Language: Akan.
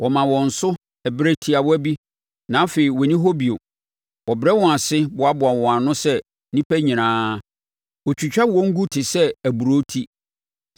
Wɔma wɔn so berɛ tiawa bi, na afei wɔnni hɔ bio; wɔbrɛ wɔn ase boaboa wɔn ano sɛ nnipa nyinaa; wɔtwitwa wɔn gu te sɛ aburoo ti.